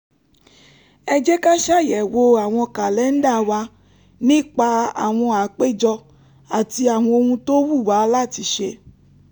ẹ jẹ́ ká ṣàyẹ̀wò àwọn kàlẹ́ńdà wa nípa àwọn àpéjọ àti àwọn ohun tó wù wá láti ṣe